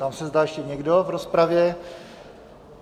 Ptám se, zda ještě někdo v rozpravě?